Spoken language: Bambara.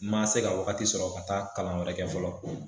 N ma se ka wagati sɔrɔ ka taa kalan wɛrɛ kɛ fɔlɔ